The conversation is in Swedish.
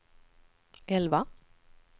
elva